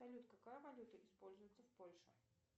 салют какая валюта используется в польше